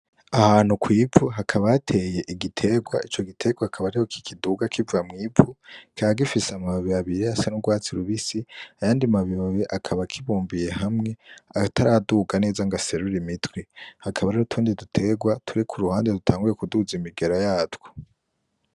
Ahantu kw'ivu, hakaba hateye igiterwa. Ico giterwa akaba ariho kikiduga kiva mw'ivu. Kikaba gifise amababi abiri asa n'urwatsi rubisi; ayandi mababi akaba akibumbiye hamwe ataraduga neza ngo aserure imitwe. Hakaba hariho n'utundi duterwa turi ku ruhande dutanguye kuduza imigera yatwo.